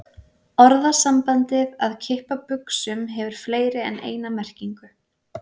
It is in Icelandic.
Orðasambandið að kippa buxum hefur fleiri en eina merkingu.